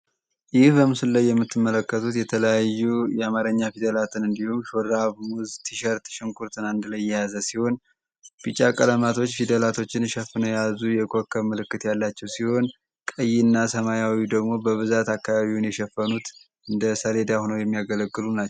በምስሉ ላይ የምትመለከት የአማርኛ ፊደላትን በአንድ ላይ የያዘ ሲሆን ቢጫ ቀለማቶች የኮከብ ምልክት ያላቸው ሲሆን ቀይ እና ሰማያዊ ወይም ደግሞ በብዛት ሰሌዳውን የሸፈኑ የቀለማት አይነቶች አሉ።